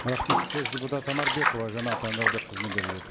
рахмет сөз депутат омарбекова жанат әнуарбекқызына беріледі